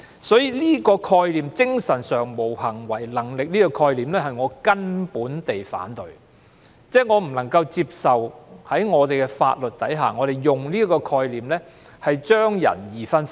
所以，我徹底反對這個"精神上無行為能力"的概念，我不能接受法律上把人分為兩種的做法。